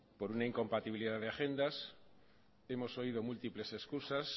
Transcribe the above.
por una incompatibilidad de agendas hemos oído múltiples excusas